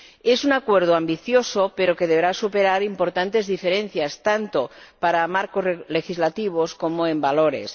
Es un acuerdo ambicioso, pero que deberá superar importantes diferencias, tanto para marcos legislativos como en valores.